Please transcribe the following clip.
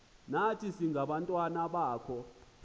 nathi singabantwana bakho